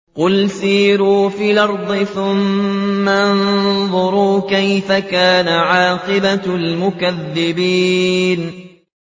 قُلْ سِيرُوا فِي الْأَرْضِ ثُمَّ انظُرُوا كَيْفَ كَانَ عَاقِبَةُ الْمُكَذِّبِينَ